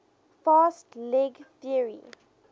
fast leg theory